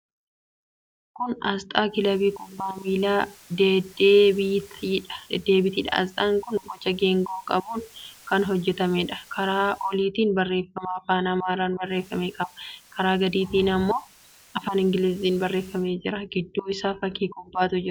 Kun aasxaa Kilabii Kubbaa Miilaa Dedebiitiidha. Aasxaan kun boca geengoo qabuun kan hojjetameedha. Karaa oliitiin barreeffama afaan Amaaraan barreeffame qaba. Karaa gadiitiin immoo afaan Ingiliziitiin barreeffamee jira. Gidduu isaa fakkii kubbaatu jira.